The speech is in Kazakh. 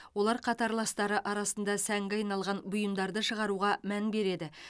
олар қатарластары арасында сәнге айналған бұйымдарды шығаруға мән береді